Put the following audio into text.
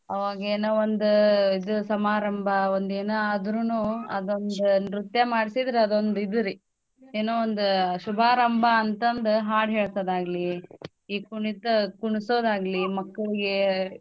ಅವಾಗೇನೋ ಒಂದ್ ಇದು ಸಮಾರಂಭ ಒಂದ್ ಎನ ಆದ್ರೂನೂ ಅದೊಂದ ನೃತ್ಯಾ ಮಾಡ್ಸಿದ್ರ ಅದೊಂದ್ ಇದು ರಿ ಏನೋ ಒಂದ್ ಶುಭಾರಂಭ ಅಂತಂದು ಹಾಡ್ ಹೇಳ್ಸೋದಾಗ್ಲಿ ಈ ಕುಣಿತ ಕುಣ್ಸೋದಾಗ್ಲಿ ಮಕ್ಕಳ್ಗೇ.